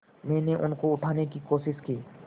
मैंने उनको उठाने की कोशिश की